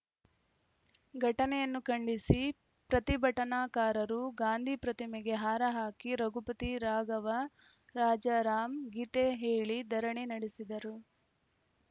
ಘಟನೆಯನ್ನು ಖಂಡಿಸಿ ಪ್ರತಿಭಟನಾಕಾರರು ಗಾಂಧಿ ಪ್ರತಿಮೆಗೆ ಹಾರ ಹಾಕಿ ರಘುಪತಿ ರಾಘವ ರಾಜರಾಮ್‌ ಗೀತೆ ಹೇಳಿ ಧರಣಿ ನಡೆಸಿದರು